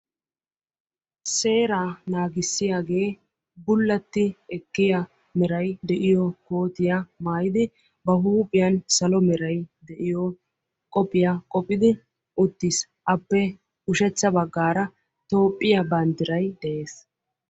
Seera naagissiyaage bulla maayuwa maayiddi ba huuphiyan salo meray de'iyo qobbiya wottiddi eqqiis.